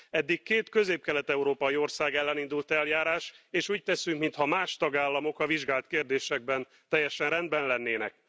Eddig két közép kelet európai ország ellen indult eljárás, és úgy teszünk, mintha más tagállamok a vizsgált kérdésekben teljesen rendben lennének.